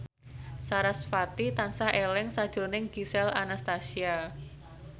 sarasvati tansah eling sakjroning Gisel Anastasia